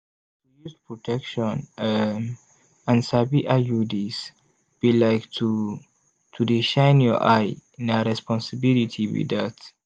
to use protection um and sabi iuds be like to to dey shine your eye na responsibility be dat.